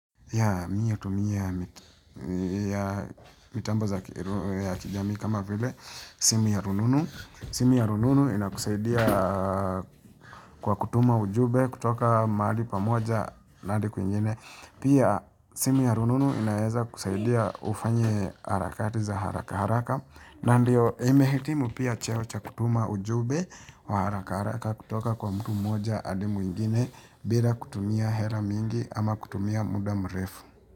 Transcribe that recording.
Mi natumia mitambo za kijamii kama vile simu ya rununu. Simu ya rununu ina kusaidia kwa kutuma ujumbe kutoka mahali pamoja na hadi kwingine. Pia simu ya rununu inaeza kusaidia ufanye harakati za haraka haraka. Na ndio nimehitimu pia cheo cha kutuma ujumbe wa harakara kutoka kwa mtu moja hadi mwingine bila kutumia hela mingi ama kutumia muda mrefu.